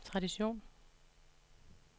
tradition